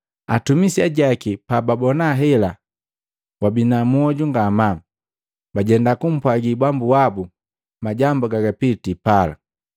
Atumisi ajaki pababona hela waabina mioju ngamaa, bajenda kupwagi bambu wabu majambu gagapitii pala.